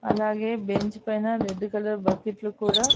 అలాగే బెంచ్ పైన red colour బకెట్లు కూడా--